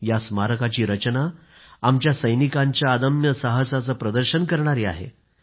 या स्मारकाची रचना आमच्या अमर सैनिकांच्या अदम्य साहसाचं प्रदर्शन करणारी आहे